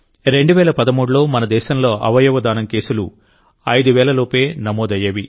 2013లో మన దేశంలో అవయవదానం కేసులు 5 వేల లోపే నమోదయ్యేవి